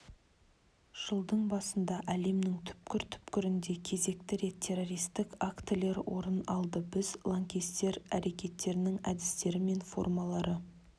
жылдың басында әлемнің түкпір-түкпірінде кезекті рет террористік актілер орын алды біз лаңкестер әрекеттерінің әдістері мен формалары